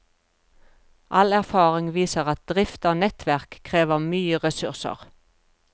All erfaring viser at drift av nettverk krever mye ressurser.